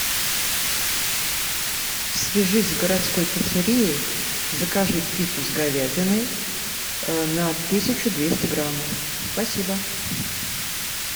свяжись с городской пиццерией закажи пиццу с говядиной на тысячу двести граммов спасибо